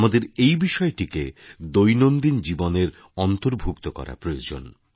আমাদের এই বিষয়টিকে দৈনন্দিন জীবনের অন্তর্ভুক্ত করা প্রয়োজন